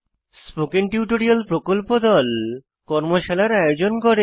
spoken tutorial প্রকল্প দল কর্মশালার আয়োজন করে